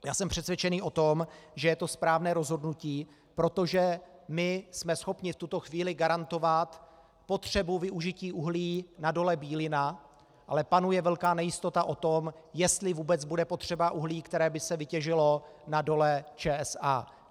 Já jsem přesvědčený o tom, že je to správné rozhodnutí, protože my jsme schopni v tuto chvíli garantovat potřebu využití uhlí na Dole Bílina, ale panuje velká nejistota o tom, jestli vůbec bude potřeba uhlí, které by se vytěžilo na Dole ČSA.